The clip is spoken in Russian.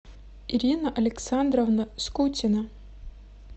ирина александровна скутина